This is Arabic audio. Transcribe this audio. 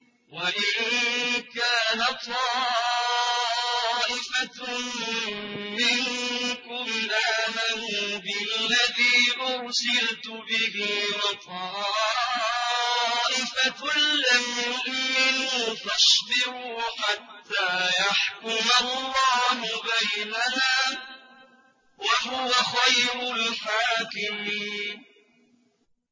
وَإِن كَانَ طَائِفَةٌ مِّنكُمْ آمَنُوا بِالَّذِي أُرْسِلْتُ بِهِ وَطَائِفَةٌ لَّمْ يُؤْمِنُوا فَاصْبِرُوا حَتَّىٰ يَحْكُمَ اللَّهُ بَيْنَنَا ۚ وَهُوَ خَيْرُ الْحَاكِمِينَ